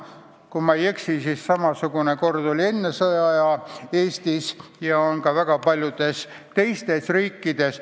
Kui ma ei eksi, siis samasugune kord oli Eestis enne sõda ja on praegu väga paljudes teistes riikides.